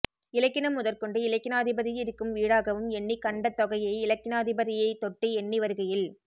இலக்கினம் முதற்கொண்டு இலக்கினாதிபதியிருக்கும் வீடாகவும் எண்ணிக் கண்ட தொகையை இலக்கினாதிபதியைத் தொட்டு எண்ணி வருகையில்